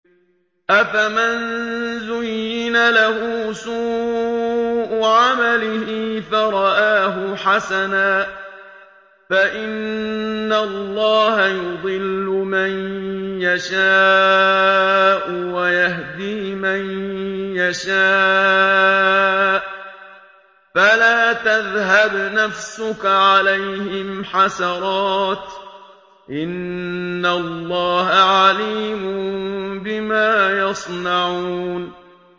أَفَمَن زُيِّنَ لَهُ سُوءُ عَمَلِهِ فَرَآهُ حَسَنًا ۖ فَإِنَّ اللَّهَ يُضِلُّ مَن يَشَاءُ وَيَهْدِي مَن يَشَاءُ ۖ فَلَا تَذْهَبْ نَفْسُكَ عَلَيْهِمْ حَسَرَاتٍ ۚ إِنَّ اللَّهَ عَلِيمٌ بِمَا يَصْنَعُونَ